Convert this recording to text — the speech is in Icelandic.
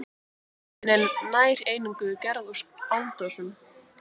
Myndin er nær eingöngu gerð úr áldósum.